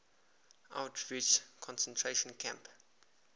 auschwitz concentration camp